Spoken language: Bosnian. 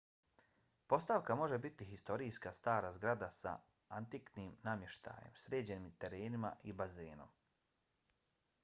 postavka može biti historijska stara zgrada sa antiknim namještajem sređenim terenima i bazenom